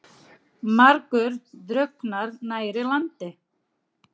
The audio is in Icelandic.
Margur drukknar nærri landi.